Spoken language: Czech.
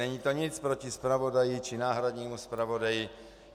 Není to nic proti zpravodaji či náhradnímu zpravodaji.